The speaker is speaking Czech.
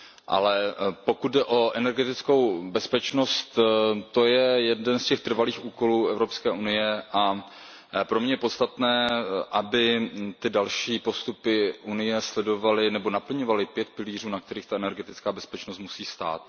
Ale pokud jde o energetickou bezpečnost, to je jeden z těch trvalých úkolů Evropské unie a pro mě je podstatné, aby ty další postupy Evropské unie sledovaly nebo naplňovaly pět pilířů, na kterých ta energetická bezpečnost musí stát.